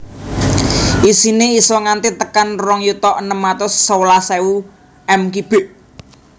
Isine isa nganti tekan rong yuta enem atus sewelas ewu m kibik